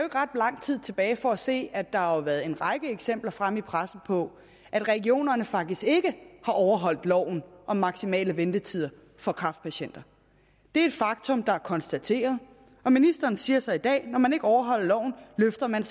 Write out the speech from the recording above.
ret lang tid tilbage for at se at der har været en række eksempler fremme i pressen på at regionerne faktisk ikke har overholdt loven om maksimale ventetider for kræftpatienter det er et faktum der er konstateret og ministeren siger så i dag at når man ikke overholder loven løfter man